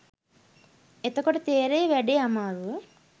එතකොට තේරෙයි වැඩේ අමාරුව